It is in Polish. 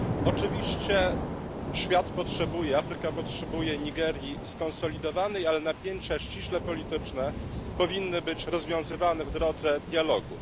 Oczywiście świat potrzebuje, Afryka potrzebuje Nigerii skonsolidowanej, ale napięcia ściśle polityczne powinny być rozwiązywane w drodze dialogu.